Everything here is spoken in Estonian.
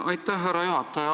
Aitäh, härra juhataja!